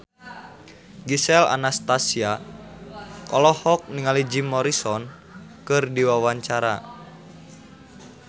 Gisel Anastasia olohok ningali Jim Morrison keur diwawancara